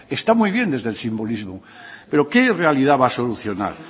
está muy bien desde el simbolismo pero qué realidad va a solucionar